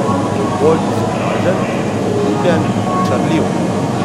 Bolj izobražen, priljubljen, očarljiv!